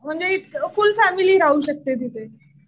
म्हणजे full family राहू शकते तिथे.